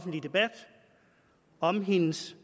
afgivet